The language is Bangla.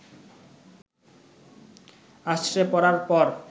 আছড়ে পড়ার পর